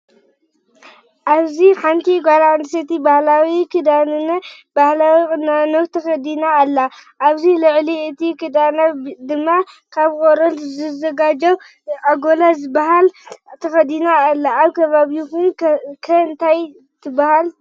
ኣብዚ ሓንቲ ጓል ኣነስተይቲ ባህላዊ ክዳንነ ባህላዊ ቁኖን ተከዲና ኣላ። ኣብ ልዕሊ እቲ ክዳና ድማ ካብ ቆረበት ዝዘጋጀው ኣጎዛ ዝባሃል ተከዲና ኣላ። ኣብ ከባቢኩም ከ እንታይ እንዳተባሃለ ይፅዋዕ?